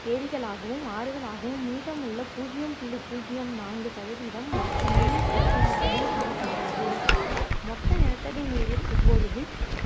ஏரிகளாகவும் ஆறுகளாகவும் மீதமுள்ள புஜ்யம் புள்ளி புஜ்யம் நான்கு சதவீதம் மற்ற நீர் வடிவங்களாகவும் காணப்படுகிறது மொத்த நிலத்தடி நீரில் இப்பொழுது